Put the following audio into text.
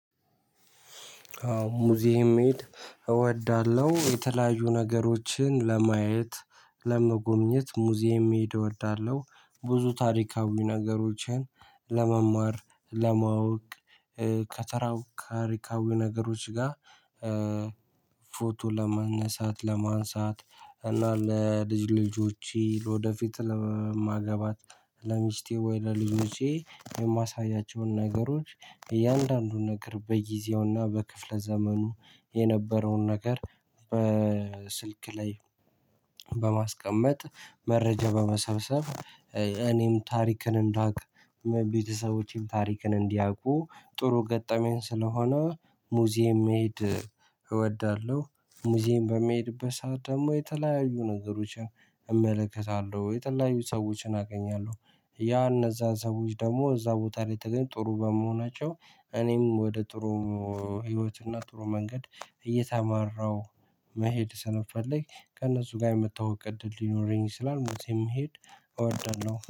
ሙዚየም መሄድ እወዳለሁ። የተለያዩ ነገሮችን ለማየት: ለመጎብኘት ሙዚየም መሄድ እወዳለሁ። ብዙ ታሪካዊ ነገሮችን ለመማር ለማወቅ ከተራው ታሪካዊ ነገሮች ጋር- ፎቶ ለመነሳት ለማንሳት እና ለልጅ ልጆች ወደፊት ለማገባት ለሚስቴ ወይ ለልጆቼ የማሳያቸውን ነገሮች እያንዳንዱን ነገር በጊዜውና በክፍለ ዘመኑ የነበረውን ነገር በስልክ ላይ- በማስቀመጥ መረጃ በመሰብሰብ እኔም ታሪክን እንዳውቅ ቤተሰቦቼም ታሪክን እንዲያውቁ ጥሩ ገጠመኝ ስለሆነ ሙዚየም መሄድ- እወዳለሁ። ሙዚየም በሚሄድበት ሰዓት ደግሞ የተለያዩ ነገሮችን እመለከታለሁ። የተለያዩ ሰዎችን አገኛለሁ። ያ እነዛ ሰዎች ደግሞ እዛ ቦታ ላይ ተገኝ ጥሩ በመሆናቸው እኔም ወደ ጥሩ- ህይወት እና ጥሩ መንገድ እየተማራው- መሄድ ስንፈልግ ከእነሱ ጋር የመተዋወቅ እድል ሊኖረኝ ይችላል ሙዜም መሄድ እወዳለሁ።